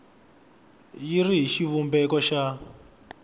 yi ri hi xivumbeko xa